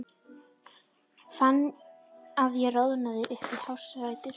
Fann að ég roðnaði upp í hársrætur.